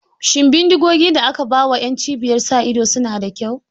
Shin bindigogi da aka ba wa ƴan cibiyar sa ido su na da kyau?